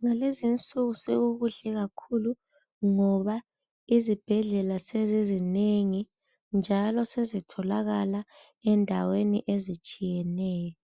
Ngalezi nsuku sekukuhle kakhulu ngoba izibhedlela sezizinengi njalo sezitholakala endaweni ezitshiyeneyo